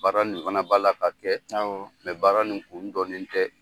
Baara nin fana b'a la ka kɛ baara nin kun dɔlen tɛ.